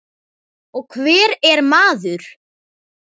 Og hver er maður?